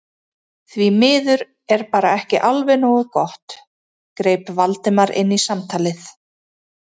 Því miður er bara ekki alveg nógu gott- greip Valdimar inn í samtalið.